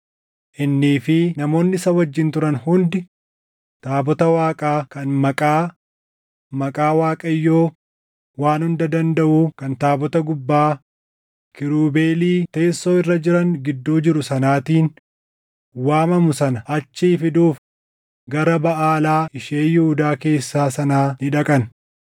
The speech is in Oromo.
Innii fi namoonni isa wajjin turan hundi taabota Waaqaa kan Maqaa, maqaa Waaqayyoo Waan Hunda Dandaʼuu kan taabota gubbaa, kiirubeelii teessoo irra jiran gidduu jiru sanaatiin waamamu sana achii fiduuf gara Baʼaalaa ishee Yihuudaa keessaa sanaa ni dhaqan.